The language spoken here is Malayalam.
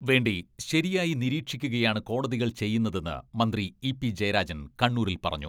വേണ്ടി ശരിയായി നിരീക്ഷിക്കുകയാണ് കോടതികൾ ചെയ്യുന്നതെന്ന് മന്ത്രി ഇ.പി.ജയരാജൻ കണ്ണൂരിൽ പറഞ്ഞു.